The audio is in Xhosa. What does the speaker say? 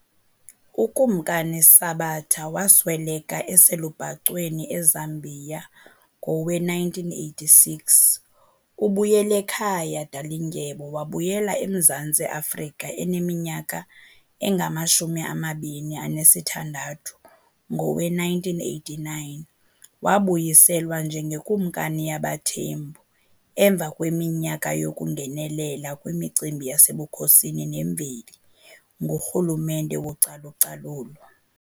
UKumkani Sabata wasweleka eselubhacweni eZambia ngowe1986, uBuyelekhaya Dalindyebo wabuyela eMzantsi Afrika eneminyaka engamashumi amabini anesithandathu ngowe1989 wabuyiselwa njengeKumkani yabaThembu emva kweminyaka yokungenelela kwimicimbi yasebukhosini nemveli ngurhulumente wocalucalulo.